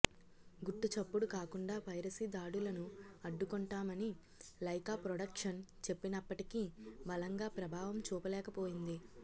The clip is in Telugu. గుట్టు చప్పుడు కాకుండా పైరసీ దాడులను అడ్డుకొంటామని లైకా ప్రొడక్షన్ చెప్పినప్పటికీ బలంగా ప్రభావం చూపలేకపోయింది